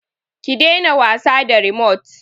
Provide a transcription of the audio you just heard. Ki daina wasa da rimot!